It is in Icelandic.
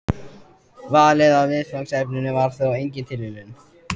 Valið á viðfangsefninu var þó engin tilviljun.